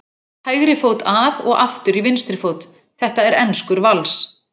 hægri fót að og aftur í vinstri fót. þetta er enskur vals!